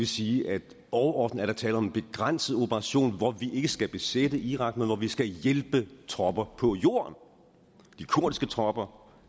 sige at overordnet er der tale om en begrænset operation hvor vi ikke skal besætte irak men hvor vi skal hjælpe tropper på jorden de kurdiske tropper